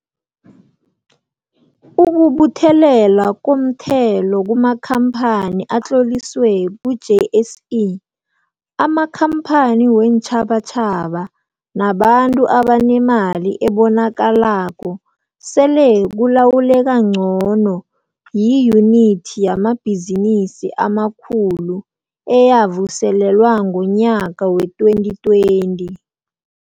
Ukubuthelelwa komthelo kumakhampani atloliswe ku-JSE, amakhampani weentjhabatjhaba nabantu abanemali ebonakalako sele kulawuleka ngcono yiYunithi yamaBhizinisi amaKhulu, eyavuselelwa ngonyaka wee-2020.